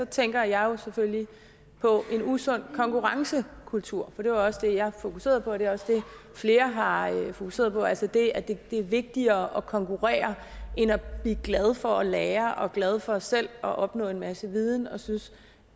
tænker jeg selvfølgelig på en usund konkurrencekultur for det var også det jeg fokuserede på og det er også det flere har fokuseret på altså det at det er vigtigere at konkurrere end at blive glad for at lære og glad for selv at opnå en masse viden og synes